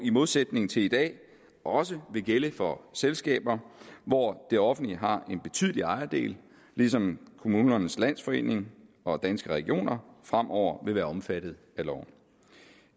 i modsætning til i dag også vil gælde for selskaber hvor det offentlige har en betydelig ejerdel ligesom kommunernes landsforening og danske regioner fremover vil være omfattet af loven